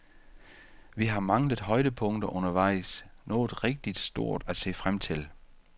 Vi har manglet højdepunkter undervejs, noget rigtigt stort at se frem til.